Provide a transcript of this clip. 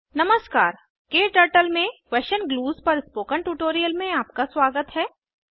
नमस्कार क्टर्टल में question clues पर स्पोकन ट्यूटोरियल में आपका स्वागत है